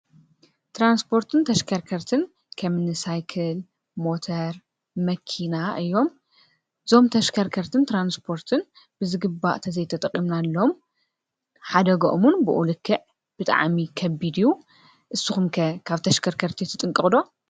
ትራንስፖርትን ተሽከርከርትን ከምኒ ሳይክል፣ ሞተር ፣መኪና እዮም። እዞም ተሽከርከርትን ትራንስፖርትን ብዝግባእ ተዘይተጠቂምናሎም ሓደግኦም እዉን ብኡ ልክዕ ብጣዕሚ ከቢድ እዩ። እስኹም ከ ካብ ተሽከርከርቲ ትጥንቀቁ ዶ?